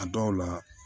A dɔw la